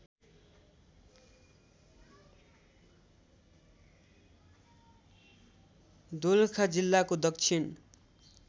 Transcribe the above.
दोलखा जिल्लाको दक्षिण